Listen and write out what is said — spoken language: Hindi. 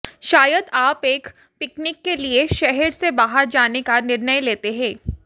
शायद आप एक पिकनिक के लिए शहर से बाहर जाने का निर्णय लेते हैं